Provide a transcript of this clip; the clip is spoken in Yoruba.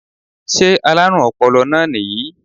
Sé alárùn ọpọlọ náà nìyí